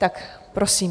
Tak prosím.